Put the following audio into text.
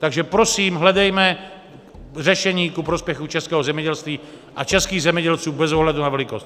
Takže prosím, hledejme řešení ku prospěchu českého zemědělství a českých zemědělců bez ohledu na velikost.